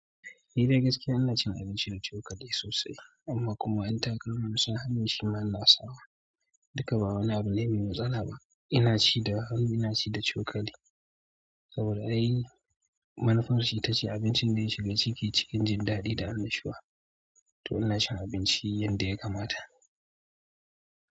Ni dai gaskiya ina cin abincin da cokali sosai, amma kuma 'yan takama in sa hannu shi ma ina sawa. Dukka ba wani abu ne mai matsala ba. Ina ci da hannu, ina ci da cokali saboda ai manufarsa ita ce abincin da ya shiga ciki cikin jin daɗi da annashuwa. To ina cin abinci yadda ya kamata.